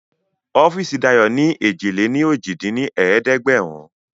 Ọọ́fíìsì Dayo ni èjì-lé-ní-ojì dín ní ẹ̀ẹ́dẹ́gbẹ́rún